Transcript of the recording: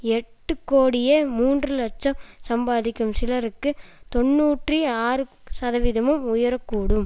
எட்டு கோடியே மூன்று இலட்சம் சம்பாதிக்கும் சிலருக்கு தொன்னூற்றி ஆறு சதவீதமும் உயர கூடும்